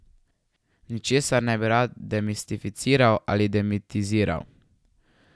Ničesar ne bi rad demistificiral ali demitiziral.